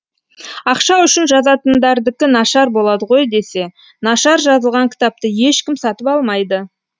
ақша үшін жазатындардікі нашар болады ғой десе нашар жазылған кітапты ешкім сатып алмайды